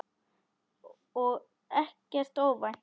Og ekkert óvænt.